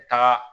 Taga